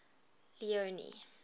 leone